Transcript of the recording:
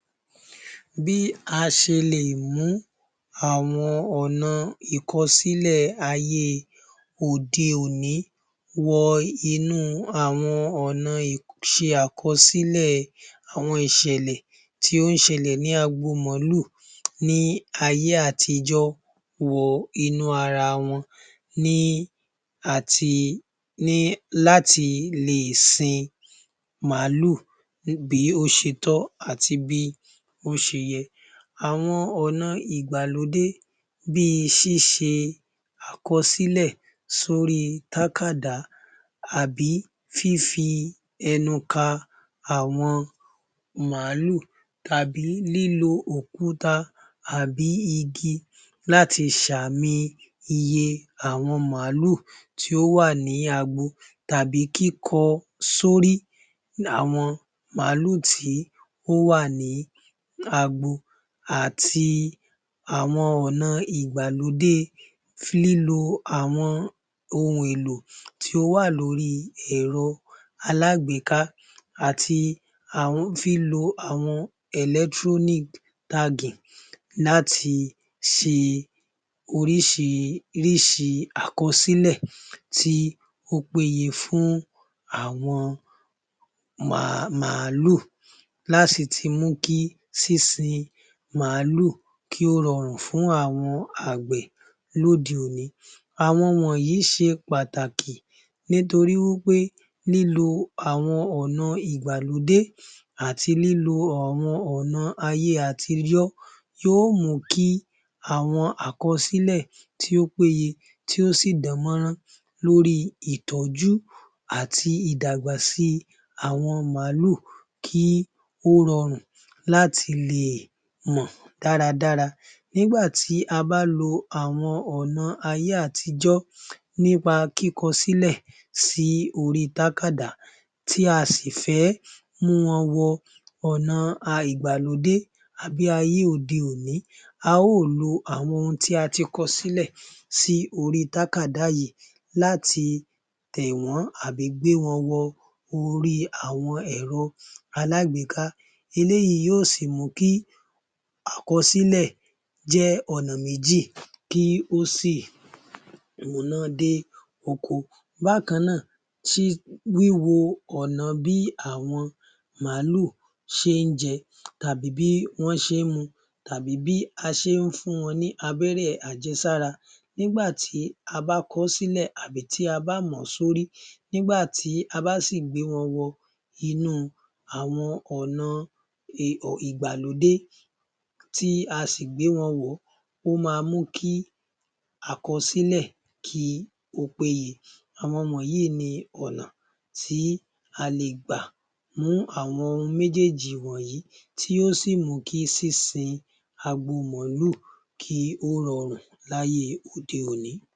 Bí a ṣe lè mú àwọn ọ̀nà ìkọsílẹ̀ ayé òde-òní wọ ọ̀na ìṣe àkọsílẹ̀ àwọn ìṣẹ̀lẹ̀ tí ó ń ṣẹlẹ̀ ni agbo màálù ni ayé àtijọ́ wọ inú ara wọn ni láti lè sin màálù bí ó ti tọ́ àti bí ó ti yẹ. Àwọn ọ̀na ìgbàlódé bíi ṣíṣe àkọsílẹ̀ lórí táákàdá àbí, fífi ẹnu ka màálù, tàbí lílo òkúta àbí igi láti ṣàmi iye àwọn màálù tí ó wà ní agbo tàbí kíkọ sórí àwọn màálù tí ó wà ní agbo àti àwọn ọ̀na ìgbàlódé lílo àwọn ohun èlò tí ó wà lórí èrọ alágbèéká àti lílo àwọn electronic tagging láti ṣe oríṣiríṣi àkọsílẹ̀ tí ó pè yẹ fún àwọn màálù láti sì mú kí sínsin màálù kí ó rọrùn fún àwọn àgbẹ̀ lóde-òní. Àwọn wọ̀nyí ṣe pàtàkì nítorí wí pé lílo ọ̀na ìgbàlódé àti lílo àwọn ọ̀na ayé àtijọ́ yóò mú kí àwọn àkọsílẹ̀ tí ó péye, tí ó sì dán mọ́rán lórí ìtọ́jú àti ìdàgbà si àwọn màálù kí ó rọrùn láti lè mọ̀ dáradára. Nígbà tí a bá lo àwọn ọ̀nà ayé àtijọ́ nípa kíkọ sílẹ̀ sí orí táákàdá tí a sì fẹ́ mú wọn wọ ọ̀na ìgbàlódé àbí ayé òde òní, a óò lo àwọn ohun tí a ti kọ sílẹ̀ sí orí táákàdá yìí láti tẹ̀ wọ́n tàbí gbé wọn wọ orí ẹ̀rọ-alágbèéká. Eléyìí yóò sì mú kí àkọsílẹ̀ jẹ́ ọ̀nà méjì kí ó sì múná dé oko. Bákan náà wí wo ọ̀na bí àwọn màálù ṣe ń jẹ, tàbí bí wọ́n ṣe ń mu tàbí bí a ṣe ń fún wọn ní abẹ́rẹ́ àjẹsára, nígbà tí a bá kọ ọ́ sílẹ̀, tàbí tí a bá mọ̀ọ́ lórí, nígbà tí a bá sì gbé wọn wọ ọ̀na ìgbàlódé tí a sì gbé wọn wọ̀ọ́ ó ma mú kí àkọsílẹ̀ kí ó péye. Àwọn wọ̀nyí ni ọ̀na tí ó tí a lè gbà mú àwọn ohun méjèèjì wọ̀nyí tí ó sì mú kí sínsin agbo màálù kí ó rọrùn láyé òde-òní.